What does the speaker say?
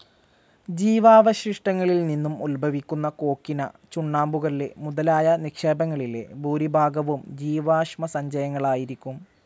ജീവാവശിഷ്ടങ്ങളിൽനിന്നും ഉദ്ഭവിക്കുന്ന കോക്വിന, ചുണ്ണാമ്പുകല്ല് മുതലായ നിക്ഷേപങ്ങളിലെ ഭൂരിഭാഗവും ജീവാശ്മസഞ്ചയങ്ങളായിരിക്കും.